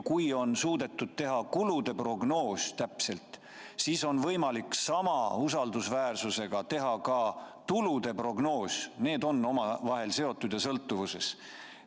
Kui on suudetud teha täpne kulude prognoos, siis on võimalik sama usaldusväärselt teha ka tulude prognoos, need on omavahel seotud ja sõltuvuses.